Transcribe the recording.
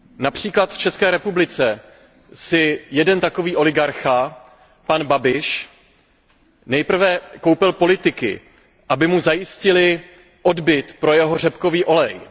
Například v České republice si jeden takový oligarcha, pan Babiš, nejprve koupil politiky, aby mu zajistili odbyt pro jeho řepkový olej.